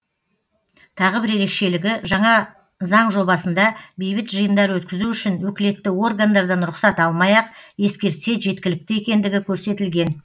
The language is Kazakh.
тағы бір ерекшелігі жаңа заң жобасында бейбіт жиындар өткізу үшін өкілетті органдардан рұқсат алмай ақ ескертсе жеткілікті екендігі көрсетілген